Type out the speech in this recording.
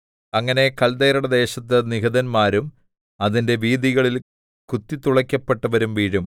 അങ്ങനെ കല്ദയരുടെ ദേശത്ത് നിഹതന്മാരും അതിന്റെ വീഥികളിൽ കുത്തിത്തുളക്കപ്പെട്ടവരും വീഴും